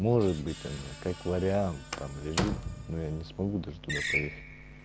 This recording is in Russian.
может быть она как вариант там лежит но я не смогу даже туда поехать